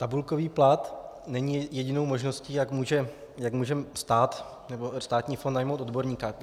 Tabulkový plat není jedinou možností, jak může stát nebo státní fond najmout odborníka.